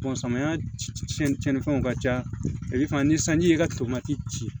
samiya cɛn cɛn ni fɛnw ka ca ale fana ni sanji ye ka tomati ci